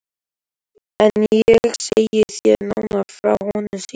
En ég segi þér nánar frá honum síðar.